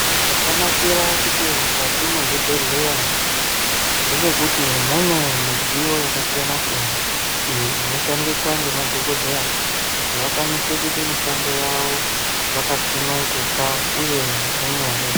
Chakanakira kuti mukati mwezvibhedhleya ndechekuti mune midziyo yakasiyana siyana inoshandiswa ngemadhokodheya kuti vakwanise kuite mishando yavo vakasununguka uye zvirinyore.